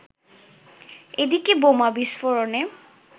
এদিকে বোমা বিস্ফোরণে